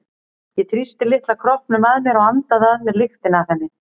Ég þrýsti litla kroppnum að mér og andaði að mér lyktinni af henni.